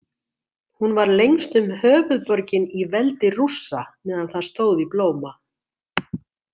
Hún var lengstum höfuðborgin í veldi Rússa meðan það stóð í blóma.